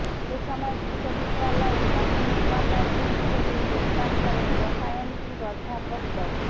এ সময় বিশ্ববিদ্যালয়ের প্রথম উপাচার্য হিসেবে যোগদান করেন রসায়নবিদ অধ্যাপক ড